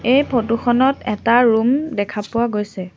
এই ফটো খনত এটা ৰুম দেখা পোৱা গৈছে।